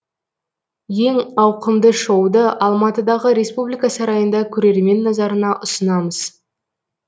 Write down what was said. ең ауқымды шоуды алматыдағы республика сарайында көрермен назарына ұсынамыз